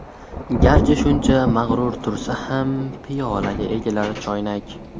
Garchi shuncha mag‘rur tursa ham, Piyolaga egilar choynak.